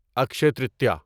Akshay Tritiya